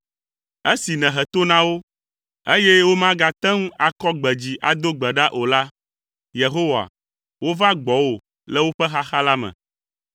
Esi nèhe to na wo, eye womagate ŋu akɔ gbe dzi ado gbe ɖa o la, Yehowa, wova gbɔwò le woƒe xaxa la me.